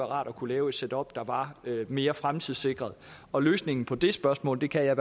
rart at kunne lave et setup der var mere fremtidssikret og løsningen på det spørgsmål kan jeg